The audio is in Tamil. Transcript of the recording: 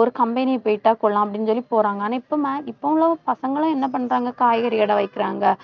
ஒரு company போயிட்ட கொள்ளலாம் அப்படின்னு சொல்லி போறாங்க. ஆனா, max~ இப்ப உள்ள பசங்கெல்லாம், என்ன பண்றாங்க காய்கறி கடை வைக்கிறாங்க.